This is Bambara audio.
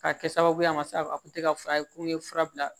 K'a kɛ sababu ye a ma se a kun tɛ ka fura ye ko n ye fura bila